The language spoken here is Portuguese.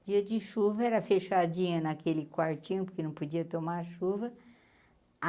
O dia de chuva era fechadinha naquele quartinho, porque não podia tomar chuva.